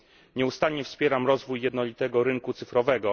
Nieustannie wspieram rozwój jednolitego rynku cyfrowego.